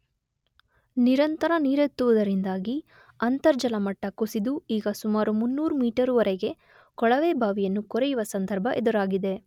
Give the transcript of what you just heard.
ನಿರಂತರ ನೀರೆತ್ತುವುದರಿಂದಾಗಿ ಅಂತರ್ಜಲ ಮಟ್ಟ ಕುಸಿದು ಈಗ ಸುಮಾರು ಮುನ್ನೂರು ಮೀಟರುವರೆಗೆ ಕೊಳವೆ ಬಾವಿಯನ್ನು ಕೊರೆಯುವ ಸಂದರ್ಭ ಎದುರಾಗಿದೆ.